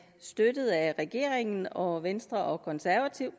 støttet af regeringen og venstre og konservative